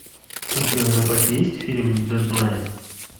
у тебя в запасе есть фильм дедлайн